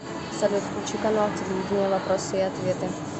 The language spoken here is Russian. салют включи канал телевидения вопросы и ответы